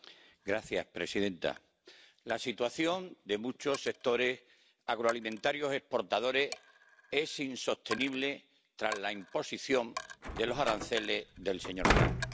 Señora presidenta, la situación de muchos sectores agroalimentarios exportadores es insostenible tras la imposición de los aranceles del señor Trump